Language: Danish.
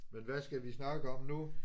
Men hvad skal vi snakke om nu?